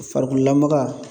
Farikololamaga